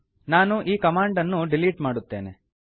ನಾನು ಈ ಕಮಾಂಡ್ ಅನ್ನು ಡಿಲೀಟ್ ಮಾಡುತ್ತೇನೆ